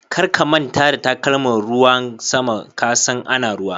Kar ka manta da takalman ruwan sama, ka san ana ruwa.